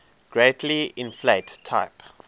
greatly inflate type